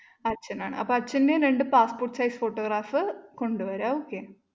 അച്ഛനാണ് അപ്പൊ അച്ഛന്റേം രണ്ട് passport size photograph കൊണ്ടുവരുക okay